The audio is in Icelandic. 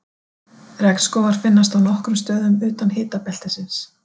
Regnskógar finnast á nokkrum stöðum utan hitabeltisins.